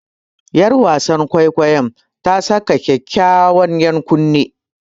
Yar wasan kwaikwayon ta saka kyawawan ‘yan kunne.